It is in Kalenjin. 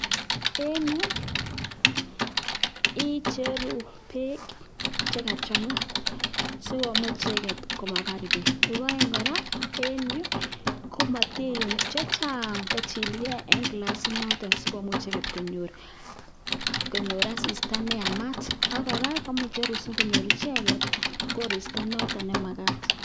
En yuu icheru beek che kachangaa si komuch icheget koma bar beek nepo oeng kora en yuu komatiyum chechang kochilkee en klasiit notok si komuch icheget konyor asista neyamat ak kora komuche icheru si icheget konyor koristo neyamat